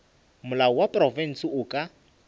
molao wa profense o ka